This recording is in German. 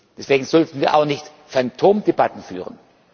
Deswegen sollten wir auch nicht Phantomdebatten führen.